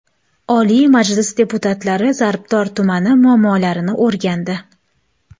Oliy Majlis deputatlari Zarbdor tumani muammolarini o‘rgandi.